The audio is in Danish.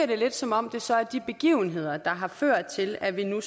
det lidt som om det så er de begivenheder der har ført til at vi nu